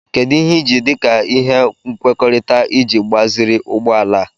Kedu ihe ị ji dị ka ihe nkwekọrịta iji gbaziri ụgbọ ala a?